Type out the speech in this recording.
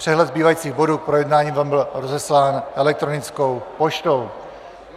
Přehled zbývajících bodů k projednání vám byl rozeslán elektronickou poštou.